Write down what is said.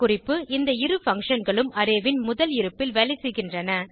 குறிப்பு இந்த இரு functionகளும் அரே ன் முதல் இருப்பில் வேலைசெய்கின்றன